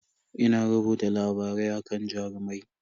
Ina rubuta labarai akan Jarumai.